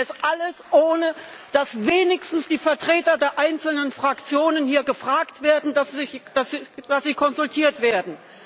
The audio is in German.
Sie machen das alles, ohne dass wenigstens die Vertreter der einzelnen Fraktionen hier gefragt werden, ohne dass sie konsultiert werden.